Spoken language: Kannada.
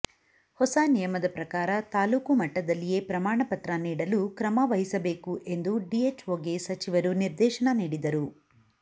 ಹೊಸ ನಿಯಮದ ಪ್ರಕಾರ ತಾಲ್ಲೂಕು ಮಟ್ಟದಲ್ಲಿಯೇ ಪ್ರಮಾಣ ಪತ್ರ ನೀಡಲು ಕ್ರಮ ವಹಿಸಬೇಕು ಎಂದು ಡಿಎಚ್ಒಗೆ ಸಚಿವರು ನಿರ್ದೇಶನ ನೀಡಿದರು